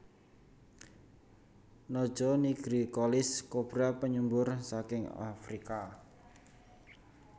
Naja nigricollis kobra penyembur saking Afrika